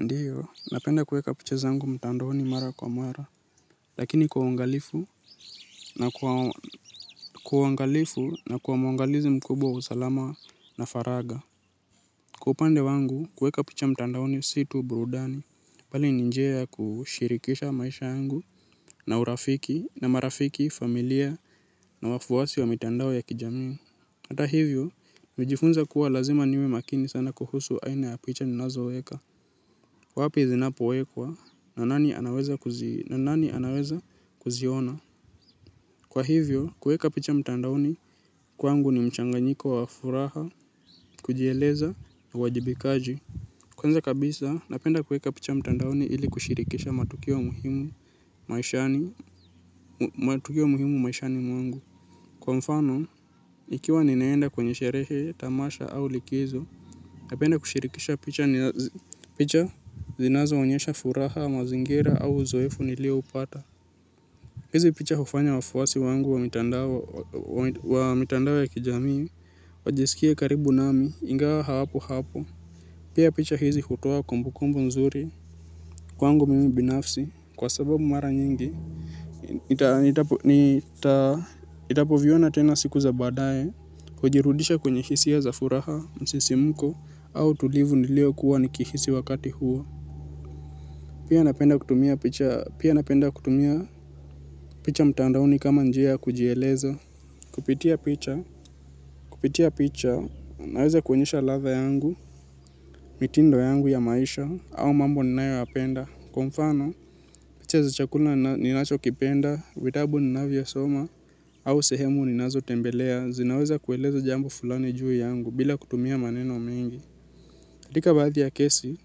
Ndiyo, napenda kueka picha zangu mtandaoni mara kwa mara, lakini kwa uangalifu na kwa uangalifu na kuwa mwangalizi mkubwa wa usalama na faragha. Kwa upande wangu kueka picha mtandaoni si tu burudani, bali ni njia ya kushirikisha maisha yangu na urafiki, na marafiki, familia na wafuasi wa mitandao ya kijamii. Hata hivyo, nilijifunza kuwa lazima niwe makini sana kuhusu aina ya picha ni nazoweka. Wapi zinapowekwa na nani anaweza kuziona. Kwa hivyo, kueka picha mtandaoni kwangu ni mchanganyiko wa furaha, kujieleza na wajibikaji. Kwanza kabisa, napenda kueka picha mtandaoni ili kushirikisha matukio muhimu maishani mwangu. Kwa mfano, ikiwa ninaenda kwenye sherehe, tamasha au likizo, napenda kushirikisha picha picha zinazoonyesha furaha, mazingira au uzoefu nilioupata. Hizi picha hufanya wafuasi wangu wa mitandao ya kijamii, wajisikie karibu nami, ingawa hapo hapo. Pia picha hizi hutoa kumbukumbu nzuri. Kwangu mimi binafsi, kwa sababu mara nyingi, nitapoviona tena siku za baadae, hujirudisha kwenye hisia za furaha, msisimko, au utulivu niliokuwa nikihisi wakati huo. Pia napenda kutumia picha mtandaoni kama njia ya kujieleza. Kupitia picha, kupitia picha, naweza kuonyesha ladha yangu, mitindo yangu ya maisha, au mambo ninayoyapenda. Kwa mfano, picha za chakula ninachokipenda, vitabu ninavyosoma, au sehemu ninazotembelea, zinaweza kueleza jambo fulani juu yangu bila kutumia maneno mingi. Dhika baadhi ya kesi,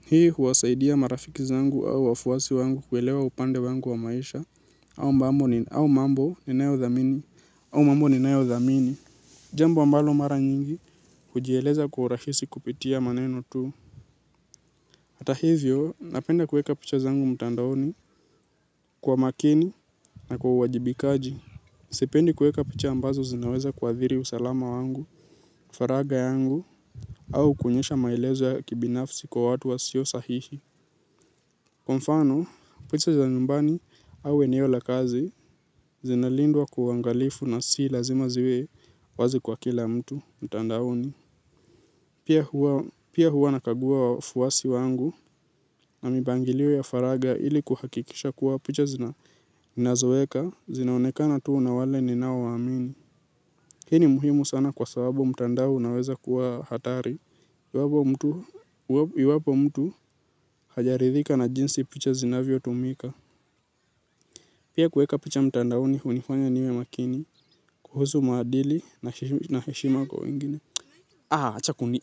hii huwasaidia marafiki zangu au wafuwasi wangu kuelewa upande wangu wa maisha au mambo ninayodhamini, au mambo ninayodhamini. Jambo ambalo mara nyingi, hujieleza kwa urahisi kupitia maneno tu. Hata hivyo, napenda kueka picha zangu mtandaoni kwa makini na kwa uwajibikaji. Sipendi kueka picha ambazo zinaweza kuathiri usalama wangu, faragha yangu, au kuonyesha maelezo ya kibinafsi kwa watu wasio sahihi. Kwa mfano, picha za nyumbani au eneo la kazi zinalindwa kwa uangalifu na si lazima ziwe wazi kwa kila mtu mtandaoni. Pia huwa nakagua wafuasi wangu na mipangilio ya faragha ili kuhakikisha kuwa picha zina nazoeka, zinaonekana tu na wale ninao waamini. Hii ni muhimu sana kwa sababu mtandao unaweza kuwa hatari. Iwapo mtu hajaridhika na jinsi picha zina vyotumika. Pia kueka picha mtandaoni hunifanya niwe makini kuhusu maadili na heshima kwa wengine. Acha kuni.